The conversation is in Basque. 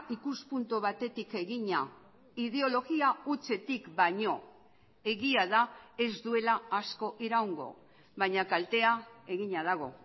ikuspuntu batetik egina ideologia hutsetik baino egia da ez duela asko iraungo baina kaltea egina dago